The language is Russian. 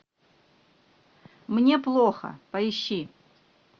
мне плохо поищи